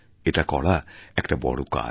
এটা করা একটা বড়ো কাজ